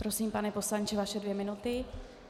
Prosím, pane poslanče, vaše dvě minuty.